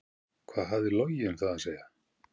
Hvað hafði Logi um það að segja?